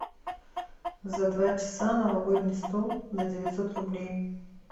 за два часа новогодний стол на девятьсот рублей